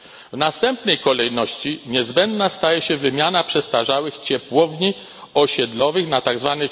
W następnej kolejności niezbędna staje się wymiana przestarzałych ciepłowni osiedlowych na tzw.